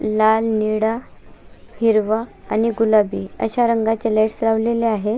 लाल निळा हिरवा आणि गुलाबी अश्या रंगाचे लाइटस लावलेल्या आहेत.